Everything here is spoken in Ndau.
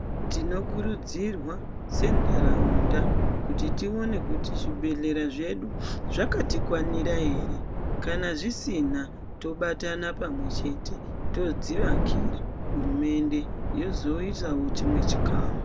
Tinokurudzirwa senharaunda kuti tione kuti zvibhedhlera zvedu zvakatikwanira ere kana zvisina tobatana pamwe chete todzivakira hurumende yozoisawo chimwe chikamu